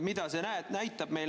Mida see näitab meile?